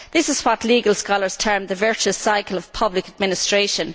This is what legal scholars term the virtuous cycle of public administration.